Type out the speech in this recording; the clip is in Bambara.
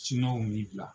min bila